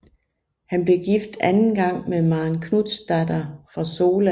Han blev gift anden gang med Maren Knutsdatter fra Sola